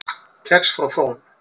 Kex frá Frón